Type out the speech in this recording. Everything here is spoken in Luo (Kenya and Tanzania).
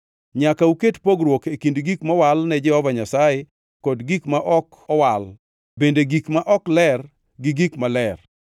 Nyaka uket pogruok e kind gik mowal ne Jehova Nyasaye kod gik ma ok mowal, bende gik ma ok ler gi gik maler,